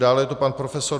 Dále je to pan prof.